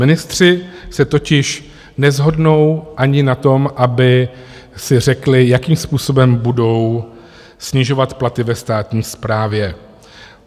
Ministři se totiž neshodnou ani na tom, aby si řekli, jakým způsobem budou snižovat platy ve státní správě.